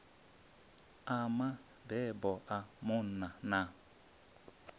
a mabebo a munna na